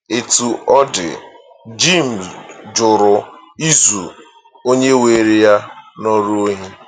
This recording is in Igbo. Etu ọ dị, Jim jụrụ izu onye were ya n’ọrụ ohi.